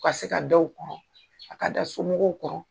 U ka se ka dɔw , a ka da somɔgɔw kɔrɔ